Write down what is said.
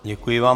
Děkuji vám.